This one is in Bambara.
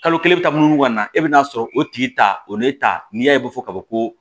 Kalo kelen bɛ taa munu munu ka na e bɛ na sɔrɔ o tigi ta o ne ta n'i y'a ye ko fɔ kaban ko